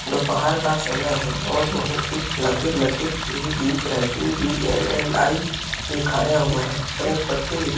दोपहर का समय है और बहुत ही लकीर - लकीर भी दिख रहा है टीवीएमएलआई लिखाया हुआ हैं और एक पत्ती भी दिख --